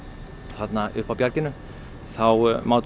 þarna uppi á bjarginu þá mátum